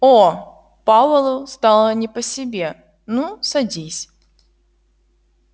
оо пауэллу стало не по себе ну садись